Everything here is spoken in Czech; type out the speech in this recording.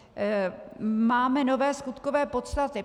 Máme nové skutkové podstaty.